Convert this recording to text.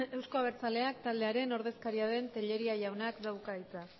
euzko abertzaleak taldearen ordezkaria den tellería jaunak dauka hitza